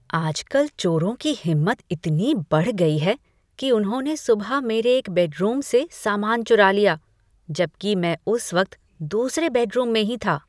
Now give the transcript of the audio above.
आजकल चोरों की हिम्मत इतनी बढ़ गई है कि उन्होंने सुबह मेरे एक बेडरूम से सामान चुरा लिया, जबकि मैं उस वक्त दूसरे बेडरूम में ही था।